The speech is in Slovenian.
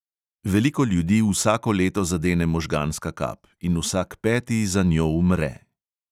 Veliko ljudi vsako leto zadene možganska kap in vsak peti za njo umre.